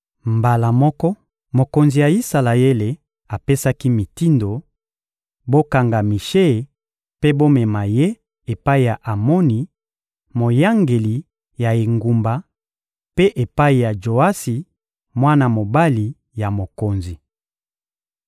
Mbala moko, mokonzi ya Isalaele apesaki mitindo: — Bokanga Mishe mpe bomema ye epai ya Amoni, moyangeli ya engumba, mpe epai ya Joasi, mwana mobali ya mokonzi.